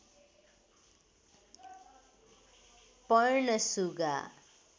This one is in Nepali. पर्ण सुगा